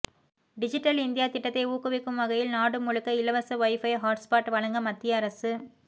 digital India திட்டத்தை ஊக்குவிக்கும் வகையில் நாடு முழுக்க இலவச வைபை ஹாட்ஸ்பாட் வழங்க மத்திய அரசு